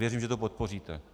Věřím, že to podpoříte.